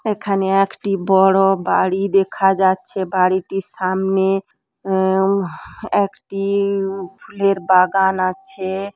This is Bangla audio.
এখানে একটি বোরো বাড়ি দেখা যাচ্ছে বাড়িটির সামনে উউম আআহ একটিইই উম ফুলের বাগান আছে।